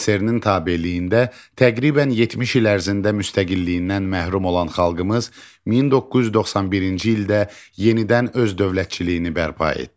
SSRİ-nin tabeliyində təqribən 70 il ərzində müstəqilliyindən məhrum olan xalqımız 1991-ci ildə yenidən öz dövlətçiliyini bərpa etdi.